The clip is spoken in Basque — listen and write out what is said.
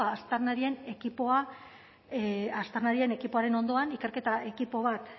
aztarnarien ekipoaren ondoan ikerketa ekipo bat